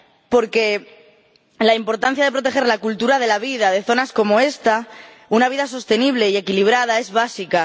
porque la importancia de proteger la cultura, la vida de zonas como esta —una vida sostenible y equilibrada—, es básica.